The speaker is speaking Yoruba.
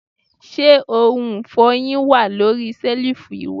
Se ohun ifohin wa lori selifu iwẹ?